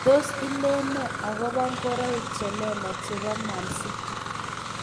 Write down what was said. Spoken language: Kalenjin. Tos ilen nee agobo ngoroik che lelach chebo Man City